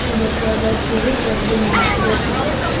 дошла до общежития я думала сдохну блять